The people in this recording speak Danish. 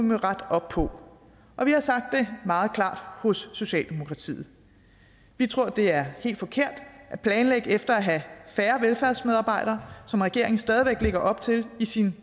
må rette op på og vi har sagt meget klart hos socialdemokratiet vi tror det er helt forkert at planlægge efter at have færre velfærdsmedarbejdere som regeringen stadig væk lægger op til i sin